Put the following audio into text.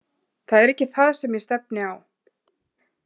Það er ekki það sem ég stefni á.